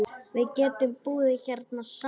Við getum búið hérna saman.